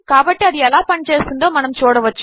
కాబట్టి అది ఎలా పని చేస్తుందో మనము చూడవచ్చు